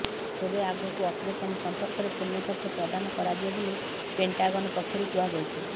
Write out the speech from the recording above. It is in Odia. ତେବେ ଆଗକୁ ଅପରେସନ ସମ୍ପର୍କରେ ପୂର୍ଣ୍ଣ ତଥ୍ୟ ପ୍ରଦାନ କରାଯିବ ବୋଲି ପେଣ୍ଟାଗନ ପକ୍ଷରୁ କୁହାଯାଇଛି